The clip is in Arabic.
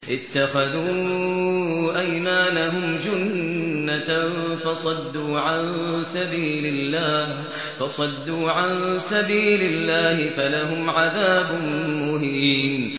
اتَّخَذُوا أَيْمَانَهُمْ جُنَّةً فَصَدُّوا عَن سَبِيلِ اللَّهِ فَلَهُمْ عَذَابٌ مُّهِينٌ